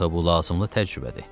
Axı bu lazımlı təcrübədir.